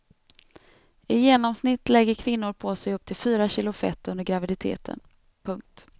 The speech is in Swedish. I genomsnitt lägger kvinnor på sig upp till fyra kilo fett under graviditeten. punkt